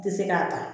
Tɛ se k'a ta